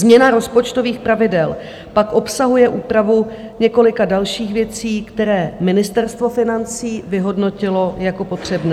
Změna rozpočtových pravidel pak obsahuje úpravu několika dalších věcí, které Ministerstvo financí vyhodnotilo jako potřebné.